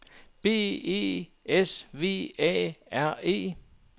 B E S V A R E